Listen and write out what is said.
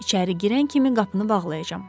İçəri girən kimi qapını bağlayacam.